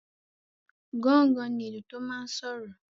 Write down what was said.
Gángan ní ìlú tó máa n sọ̀rọ̀